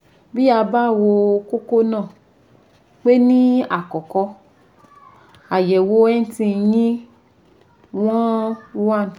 Bí a bá wo kókó náà pé ní àkọ́kọ́, àyèwò NT yín wọn 1